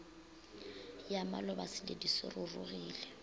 ya maloba seledu se rurugile